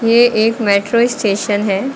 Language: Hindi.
ये एक मेट्रो स्टेशन है।